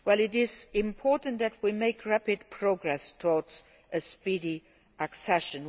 It is important that we make rapid progress towards a speedy accession.